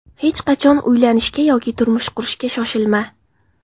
Hech qachon uylanishga yoki turmush qurishga shoshilma.